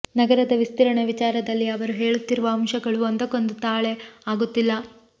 ನಗರದ ವಿಸ್ತರಣೆ ವಿಚಾರದಲ್ಲಿ ಅವರು ಹೇಳುತ್ತಿರುವ ಅಂಶಗಳು ಒಂದಕ್ಕೊಂದು ತಾಳೆ ಆಗುತ್ತಿಲ್ಲ